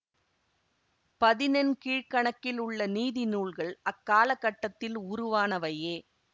பதினெண் கீழ்க்கணக்கில் உள்ள நீதிநூல்கள் அக்காலகட்டத்தில் உருவானவையே